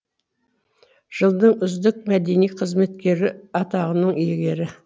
жылдың үздік мәдени қызметкері атағының иегері